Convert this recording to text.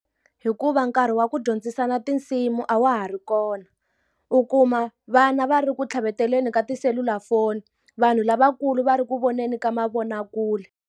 Hikuva nkarhi wa ku dyondzisana tinsimu a wa ha ri kona. U kuma vana va ri ku tlhaveteleni ka tiselulafoni, vanhu lavakulu va ri ku voneni ka mavonakule.